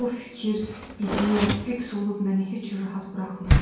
Bu fikir, ideya fiks olub məni heç rahat buraxmırdı.